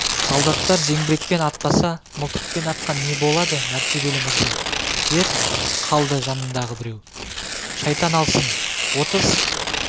солдаттар зеңбірекпен атпаса мылтықпен атқан не болады мәртебелі мырза деп қалды жанындағы біреу шайтан алсын отыз